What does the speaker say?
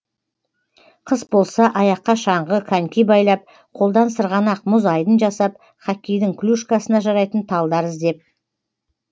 қыс болса аяққа шаңғы коньки байлап қолдан сырғанақ мұз айдын жасап хоккейдің клюшкасына жарайтын талдар іздеп